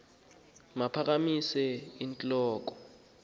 makaphakamise int loko